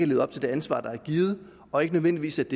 levet op til det ansvar der er givet og ikke nødvendigvis